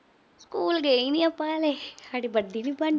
School ਗਏ ਈ ਨੀ ਆਪੇ ਹਾਲੇ। ਸਾਡੇ